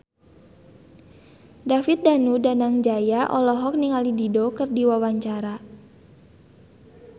David Danu Danangjaya olohok ningali Dido keur diwawancara